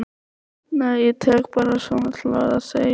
Nei ég tek bara svona til orða, segi ég.